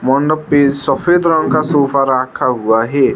उनपे सफेद रंग का सोफा रखा हुआ है।